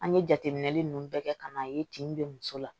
An ye jateminɛli ninnu bɛɛ kɛ ka n'a ye tin bɛ muso la